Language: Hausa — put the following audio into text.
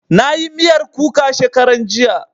Na yi miyar kuka shekaran jiya